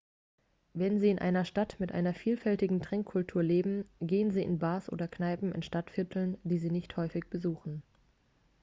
wenn sie in einer stadt mit einer vielfältigen trinkkultur leben gehen sie in bars oder kneipen in stadtvierteln die sie nicht häufig besuchen